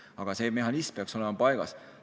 Aga see mehhanism peaks olema paigas.